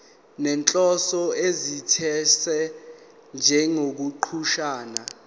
nenhloso ethize njengokuchaza